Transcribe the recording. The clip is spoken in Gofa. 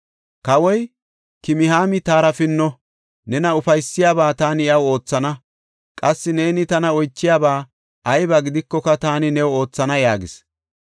Kawoy, “Kimihaami taara pinno; nena ufaysiyabaa taani iyaw oothana. Qassi neeni tana oychiyaba ayba gidikoka taani new oothana” yaagis.